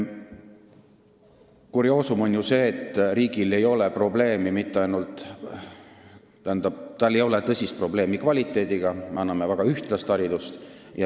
Kurioosum on ju see, et riigil ei ole tõsist probleemi kvaliteediga, sest me anname väga ühtlast haridust.